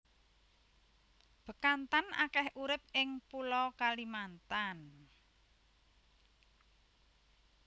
Bekantan akeh urip ing pulo Kalimantan